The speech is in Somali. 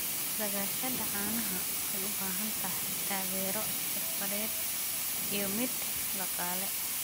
Dhaqashada caanaha waxay u baahan tahay taageero xirfadeed iyo mid dhaqaale.